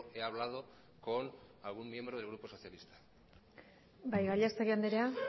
he hablado con algún miembro del grupo socialista bai gallastegui andrea